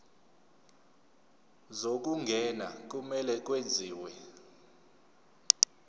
zokungena kumele kwenziwe